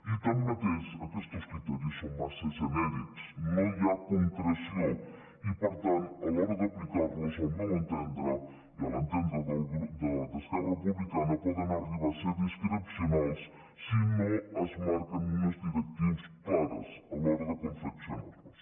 i tanmateix aquestos criteris són massa genèrics no hi ha concreció i per tant a l’hora d’aplicar los al meu entendre i a l’entendre d’esquerra republicana poden arribar a ser discrecionals si no es marquen unes directrius clares a l’hora de confeccionar los